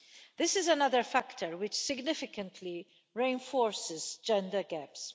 This is another factor which significantly reinforces gender gaps.